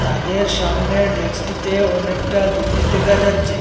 তাদের সামনের ডেস্কটিতে অনেকটা জিনিস দেখা যাচ্ছে।